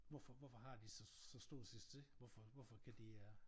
Hvorfor hvorfor har de så så stor succes hvorfor hvorfor kan de øh